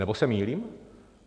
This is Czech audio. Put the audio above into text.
Nebo se mýlím?